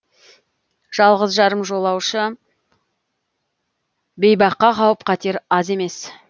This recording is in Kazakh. жалғыз жарым жолаушы бейбаққа қауіп қатер аз емес